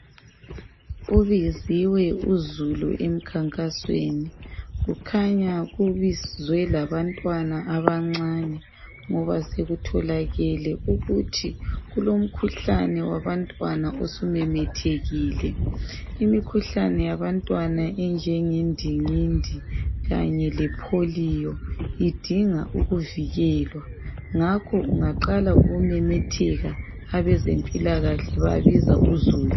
Ubiziwe uzulu emkhankasweni, kukhanya kubizwe labantwana abancane ngoba sekutholakele ukuthi kulomkhuhlane wabantwana osumemethekile, imikhuhlane yabantwana enjenge ndingindi kanye lePolio idinga ukuvikelwa, ngakho ungaqala ukumemetheka abezempilakahle babiza uzulu.